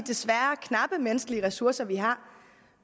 knappe menneskelige ressourcer vi har